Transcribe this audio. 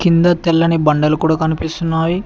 ఇంద తెల్లని బండలు కూడా కనిపిస్తున్నాయి.